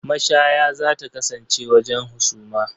Mashaya za ta kasance wajen husuma.